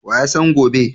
Wa ya san gobe?